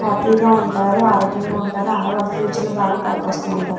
Happy గ ఉంటారు ఆరోగ్యము గ ఉంటారు అలాగే వాలా ఫ్యూచర్ లో కూడా బాగా పైకి వస్తూ ఉంటారు .